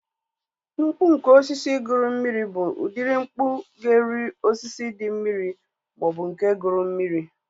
Mkpu nke osisi guru mmiri bụ udiri mkpu ga-eri osisi dị mmiri maọbụ nke guru mmiri